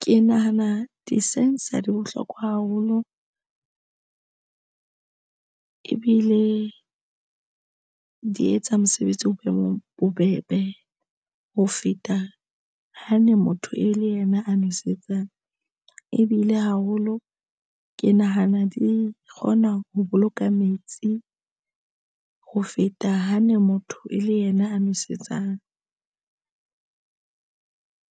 Ke nahana di-sensor di bohlokwa haholo ebile di etsa mosebetsi o boemong bobebe ho feta. Ha ne motho e le yena a nwesetsang ebile haholo ke nahana di kgona ho boloka metsi ho feta ha ne motho e le yena a nwesetsang.